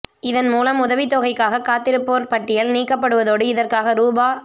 இதன் மூலம் உதவித் தொகைக்காகக் காத்திருப்போர் பட்டியல் நீக்கப்படுவதோடு இதற்காக ரூபா